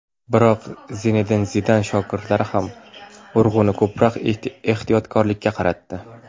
Biroq Zinedin Zidan shogirdlari ham urg‘uni ko‘proq ehtiyotkorlikka qaratdi.